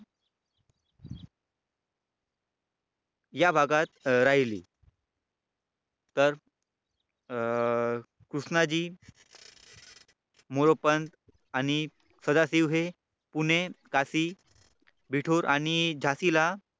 या भागात राहिली तर अं कृष्णाजी मोरोपंत आणि सदाशिव हे पुणे काशी बिठूर आणि झाशीला